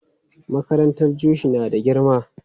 Makarantar Jushi na da girma.